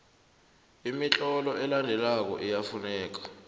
imitlolo elandelako iyafuneka